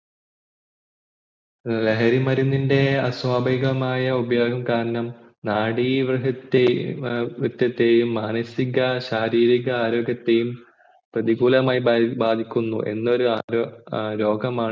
ലഹരി മരുന്നിൻ്റെ അസ്വാഭികമായ ഉപയോഗം കാരണം മാനസിക ശാരീരിക ആര്യോഗത്തെയും പ്രതികൂലമായി ബാധിക്കുന്നു എന്നൊരു രോഗമാണ്